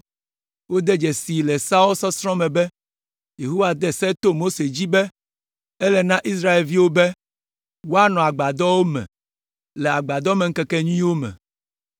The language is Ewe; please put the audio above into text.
Wode dzesii le Seawo sɔsrɔ̃ me be, Yehowa de se to Mose dzi be, ele na Israelviwo be, woanɔ agbadɔwo me le Agbadɔmeŋkekenyuiwo me.